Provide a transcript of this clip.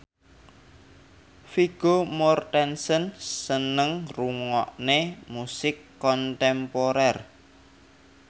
Vigo Mortensen seneng ngrungokne musik kontemporer